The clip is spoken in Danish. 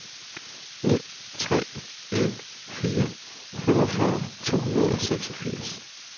ni tre en fire femogfyrre to hundrede og seksogfirs